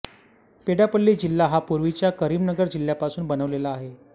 पेड्डापल्ली जिल्हा हा पूर्वीच्या करीमनगर जिल्ह्यापासून बनलेला आहे